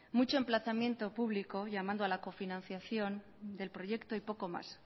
mucho emplazamiento público llamando a la cofinanciación del proyecto y poco más